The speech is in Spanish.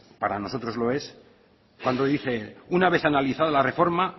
para nosotros lo es cuando dice una vez analizada la reforma